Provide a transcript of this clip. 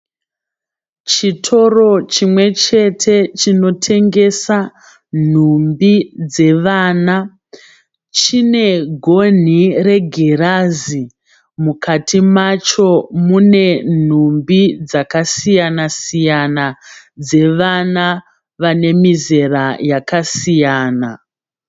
Chitoro chimwe chete chinotengesa nhumbi dzevana. Chinegonhi regirazi. Mukati macho mune nhumbi dzakasiyana-siyana dzevana vanemizera yakasiyana.